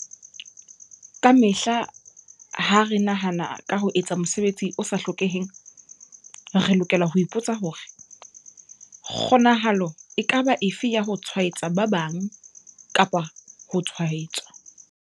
Kamehla ha re nahana ka ho etsa mosebetsi o sa hlokeheng, re lokela ho ipo tsa hore- kgonahalo e ka ba efe ya ho tshwaetsa ba bang kapa ho tshwaetswa?